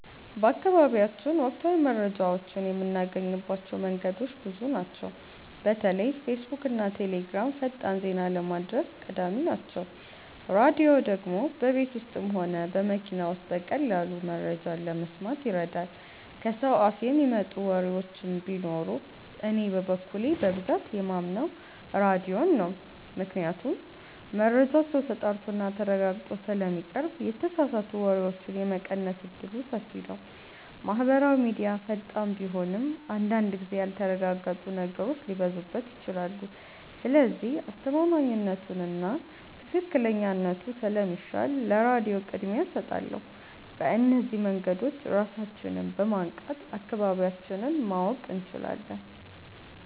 በአካባቢያችን ወቅታዊ መረጃዎችን የምናገኝባቸው መንገዶች ብዙ ናቸው። በተለይ ፌስቡክና ቴሌግራም ፈጣን ዜና ለማድረስ ቀዳሚ ናቸው። ራድዮ ደግሞ በቤት ውስጥም ሆነ በመኪና ውስጥ በቀላሉ መረጃ ለመስማት ይረዳል። ከሰው አፍ የሚመጡ ወሬዎችም ቢኖሩ እኔ በበኩሌ በብዛት የማምነው ራድዮን ነው ምክንያቱም መረጃው ተጣርቶና ተረጋግጦ ስለሚቀርብ የተሳሳቱ ወሬዎችን የመቀነስ እድሉ ሰፊ ነው። ማህበራዊ ሚድያ ፈጣን ቢሆንም አንዳንድ ጊዜ ያልተረጋገጡ ነገሮች ሊበዙበት ይችላሉ። ስለዚህ አስተማማኝነቱና ትክክለኛነቱ ስለሚሻል ለራድዮ ቅድሚያ እሰጣለሁ። በእነዚህ መንገዶች ራሳችንን በማንቃት አካባቢያችንን ማወቅ እንችላለን።